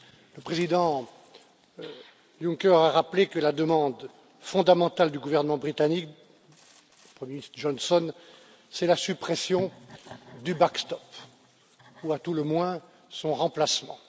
Le président Juncker a rappelé que la demande fondamentale du gouvernement britannique Johnson, c'est la suppression du backstop ou à tout le moins son remplacement.